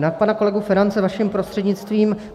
Na pana kolegu Ferance vaším prostřednictvím.